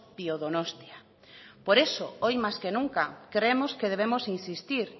biodonostia por eso hoy más que nunca creemos que debemos insistir